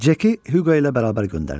Ceki Huqo ilə bərabər göndərdilər.